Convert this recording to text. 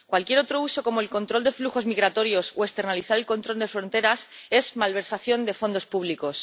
Cualquier otro uso, como el control de flujos migratorios o externalizar el control de fronteras, es malversación de fondos públicos.